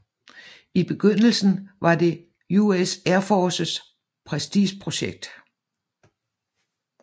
I begyndelsen var det US Air Forces prestigeprojekt